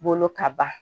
Bolo ka ban